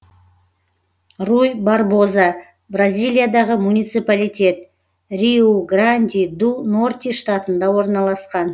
руй барбоза бразилиядағы муниципалитет риу гранди ду норти штатында орналасқан